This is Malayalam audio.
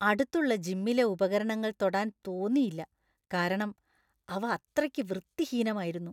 അടുത്തുള്ള ജിമ്മിലെ ഉപകരണങ്ങൾ തൊടാൻ തോന്നിയില്ല , കാരണം അവ അത്രക്ക് വൃത്തിഹീനമായിരുന്നു.